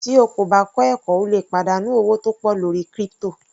Tí o kò bá kọ́ ẹ̀kọ́ o lè pàdánù owó tó pọ̀ lórí crypto.